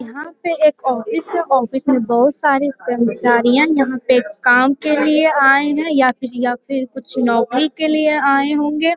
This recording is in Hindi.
यहाँ पे एक ऑफिस है ऑफिस में बहुत सारे कर्मचारीयाँ यहाँ पे काम के लिए आए हैं या फिर या फिर कुछ नौकरी के लिए आए होंगे।